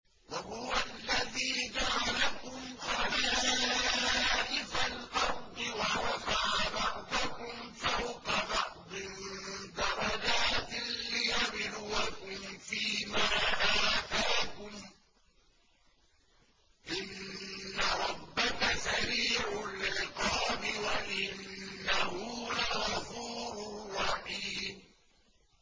وَهُوَ الَّذِي جَعَلَكُمْ خَلَائِفَ الْأَرْضِ وَرَفَعَ بَعْضَكُمْ فَوْقَ بَعْضٍ دَرَجَاتٍ لِّيَبْلُوَكُمْ فِي مَا آتَاكُمْ ۗ إِنَّ رَبَّكَ سَرِيعُ الْعِقَابِ وَإِنَّهُ لَغَفُورٌ رَّحِيمٌ